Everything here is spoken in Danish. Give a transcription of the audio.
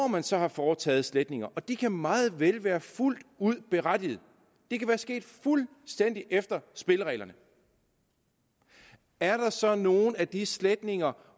man så har foretaget sletninger og de kan meget vel være fuldt ud berettiget det kan være sket fuldstændig efter spillereglerne er der så nogen af de sletninger